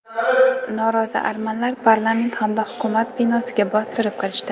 Norozi armanlar parlament hamda hukumat binosiga bostirib kirishdi.